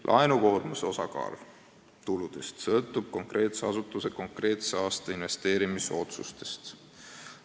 Laenukoormuse osakaal tuludes sõltub konkreetse asutuse konkreetse aasta investeerimisotsustest.